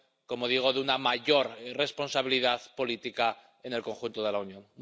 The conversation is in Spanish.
como digo, de una mayor responsabilidad política en el conjunto de la Unión.